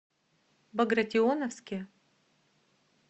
багратионовске